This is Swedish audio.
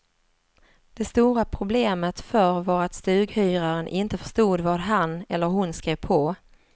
Det stora problemet förr var att stughyraren inte förstod vad han eller hon skrev på.